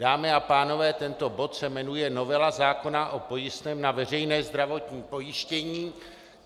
Dámy a pánové, tento bod se jmenuje novela zákona o pojistném na veřejné zdravotní pojištění.